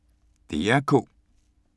DR K